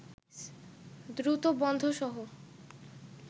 দ্রুত বন্ধসহ